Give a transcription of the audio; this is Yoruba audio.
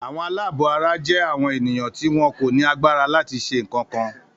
Àwọn aláàbọ̀ara jẹ́ àwọn èèyàn tí wọn kò ní agbára láti ṣe ń kankan.